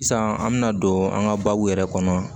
Sisan an bɛna don an ka baabu yɛrɛ kɔnɔ